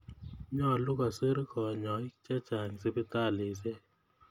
Nyalu kosir kanyoik che chang' sipitalisyek